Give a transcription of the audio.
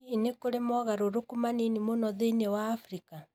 Hihi nĩ kũrĩ mogarũrũku manini mũno thĩinĩ wa Afrika?